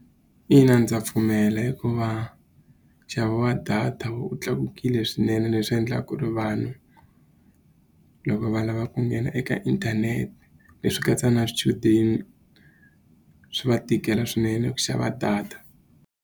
Ina ndza pfumela hikuva nxavo wa data wu tlakukile swinene leswi endlaka ku ri vanhu, loko va lava ku nghena eka inthanete. Leswi katsa na swichudeni swi va tikela swinene ku xava data.